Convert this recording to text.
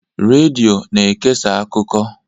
Redio na-ekesa akụkọ.